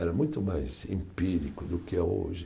Era muito mais empírico do que é hoje.